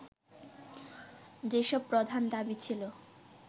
যেসব প্রধান দাবি ছিল